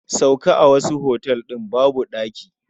Sauka a wasu otal ɗin babu daɗi.